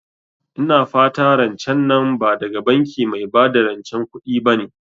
Ina fatan rancen nan ba daga banki mai bada rancen kuɗi bane?